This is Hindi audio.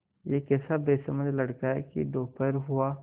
यह कैसा बेसमझ लड़का है कि दोपहर हुआ